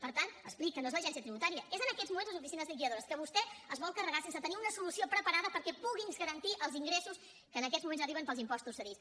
per tant expliqui ho no és l’agència tributària són en aquests moments les oficines liquidadores que vostè es vol carregar sense tenir una solució preparada perquè puguin garantir els ingressos que en aquests moments arriben pels impostos cedits